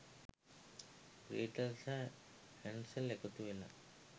Gretel සහ Hansel එකතු වෙලා